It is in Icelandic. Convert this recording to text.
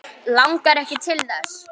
Langar ekki til þess.